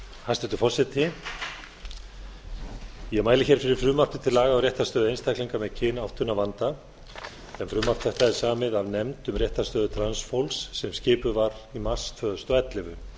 hæstvirtur forseti ég mæli fyrir frumvarpi til laga um réttarstöðu einstaklinga með kynáttunarvanda en frumvarp þetta er samið af nefnd um réttarstöðu transfólks sem skipuð var í mars tvö þúsund og ellefu